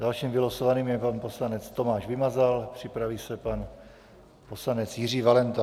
Dalším vylosovaným je pan poslanec Tomáš Vymazal, připraví se pan poslanec Jiří Valenta.